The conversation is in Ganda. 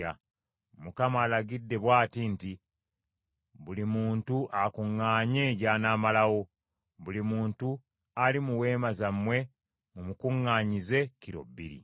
Mukama alagidde bw’ati nti, ‘Buli muntu akuŋŋaanye gy’anaamalawo. Buli muntu ali mu weema zammwe mumukuŋŋaanyize kilo bbiri.’ ”